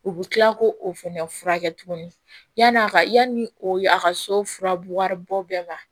U bɛ tila k'o fɛnɛ furakɛ tuguni yan'a ka yanni o a ka so furabu wari bɔ bɛɛ ma